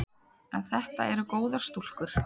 En þetta eru góðar stúlkur.